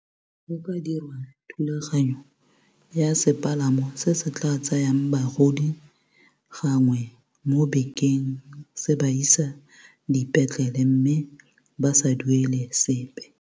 Go ka dirwa thulaganyo ya sepalamo se se tla tsayang bagodi gangwe mo bekeng se ba isa dipetlele mme ba sa duele sepe.